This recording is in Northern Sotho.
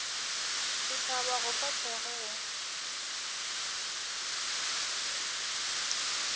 setšhaba go fa thekgo go